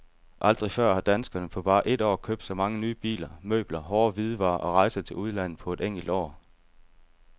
Aldrig før har danskerne på bare et år købt så mange nye biler, møbler, hårde hvidevarer og rejser til udlandet på et enkelt år.